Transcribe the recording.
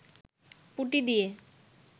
পুটি দিয়ে